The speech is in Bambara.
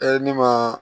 ne ma